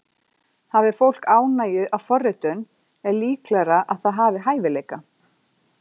Hafi fólk ánægju af forritun er líklegra að það hafi hæfileika.